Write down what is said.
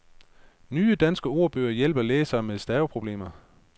Nye danske ordbøger hjælper læsere med staveproblemer.